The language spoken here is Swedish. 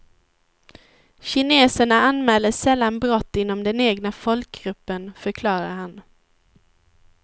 Kineserna anmäler sällan brott inom den egna folkgruppen, förklarar han.